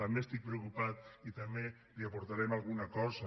també estic preocupat i també li aportarem alguna cosa